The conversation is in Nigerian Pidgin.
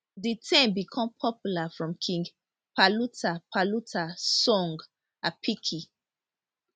di term become popular from king paluta paluta song apicki